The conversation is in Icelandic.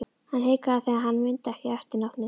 Hann hikaði þegar hann mundi ekki eftirnafnið.